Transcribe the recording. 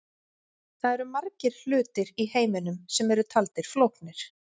Það eru margir hlutir í heiminum sem eru taldir flóknir.